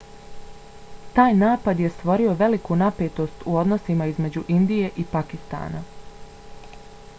taj napad je stvorio veliku napetost u odnosima između indije i pakistana